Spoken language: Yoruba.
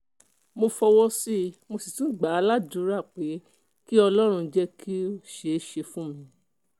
mo fọwọ́ sí i mo sì tún gbà á látàdúrà pé kí ọlọ́run jẹ́ kó ṣeé ṣe fún un